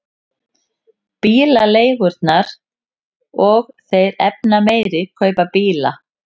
Bílaleigurnar og þeir efnameiri kaupa bíla